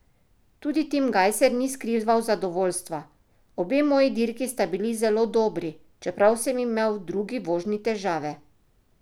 Tudi Tim Gajser ni skrival zadovoljstva: 'Obe moji dirki sta bili zelo dobri, čeprav sem imel v drugi vožnji težave.